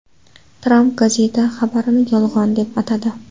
Tramp gazeta xabarini yolg‘on deb atadi.